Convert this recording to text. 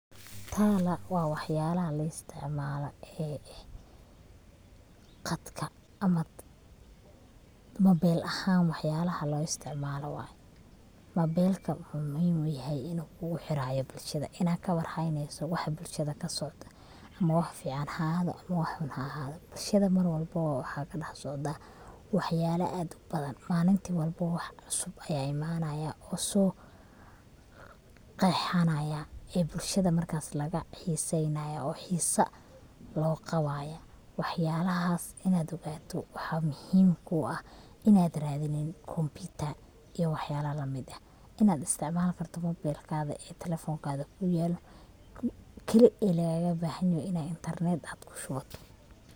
Tala waa waxyalaha la isticmaalo ee qadka ama mobel ahan waxyalaha la isticmaalo way, mobelka wuxuu muhim uyahay inu kugu xiirayo bulshada, ina kawar hayneyso waxa bulshada kasocdo ama wax fican ha ahaado ama wax xun ha ahaado, bulshada Mar walbobo waxa kadhax socda waxyala aad ubadan, maalinti walbo wax cusub aya imanaya oo soo qeexana ee bulshada marka laga xiiseynaya oo xiisa loo qabaya, wax yalahaas inad ogaato waxa muhiim ku ah inad radinin computer iyo wax yalaha la mid ah inad isticmaal karto mobelkada talefoonkada kuyaalo keli e lagaga bahan yoho talefoinkada inad intarnet kushubato